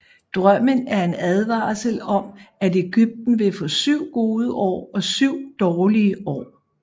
Drømmen er en advarsel om at Egypten vil få syv gode år og syv dårlige år